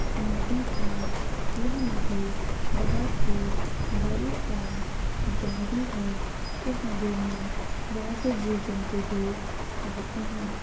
नदी है यह नदी बहुत ही बड़ी और गहरी है इस नदी मे बहुत से जीव जन्तु भी रहते है।